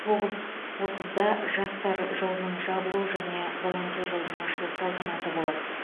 тоғыз отызда жастар жылының жабылу және волонтер жылының ашылу салтанаты болады